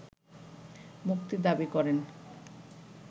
মুক্তি দাবি করেন